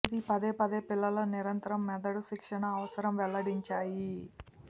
ఇది పదేపదే పిల్లల నిరంతరం మెదడు శిక్షణ అవసరం వెల్లడించాయి